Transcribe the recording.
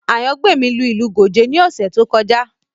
Ayangbemi lu ìlù Gòjé ní ọ̀sẹ̀ tí ó kọjá